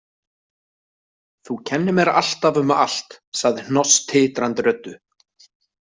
Þú kennir mér alltaf um allt, sagði Hnoss titrandi röddu.